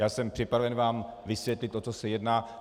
Já jsem připraven vám vysvětlit, o co se jedná.